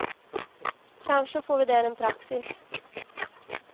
Kanske får vi där en praxis.